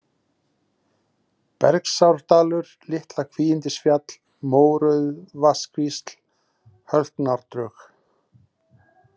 Belgsárdalur, Litla-Kvígindisfjall, Mórauðavatnskvísl, Hölknárdrög